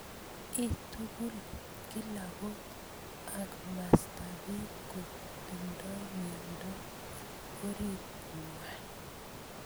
Ing tugul: kila kot ak mastap pik ko tindoi miondop orit nenywaa.